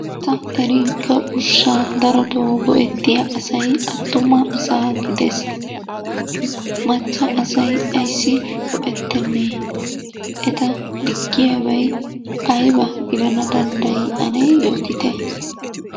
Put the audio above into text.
Ta erinkka ushshaa darotoo go'ettiya asay attuma asaa gides. Macca asay ayissi go'ettenne? Eta diggiyabay ayibaa gidana danddayi ane yootite.